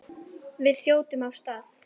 Við þjótum af stað.